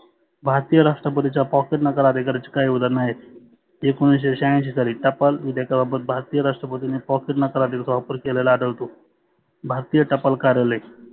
भारतीय राष्ट्रपतीच्या pocket नकार अधिकाराचे काही उदाहरण आहेत. एकोनिशे शहाऐंशी साली टपाल भारतीय राष्ट्रपतीने pocket नकार अधिकाराचा वापर केलेला आढळतो. भारतीय टपाल कार्यालय